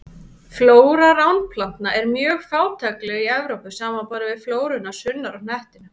Flóra ránplantna er mjög fátækleg í Evrópu, samanborið við flóruna sunnar á hnettinum.